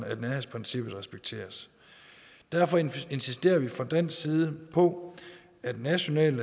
at nærhedsprincippet respekteres derfor insisterer vi fra dansk side på at nationale